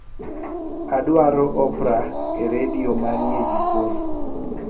adwaro oprah e redio manie jikon